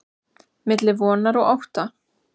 milli vonar og ótta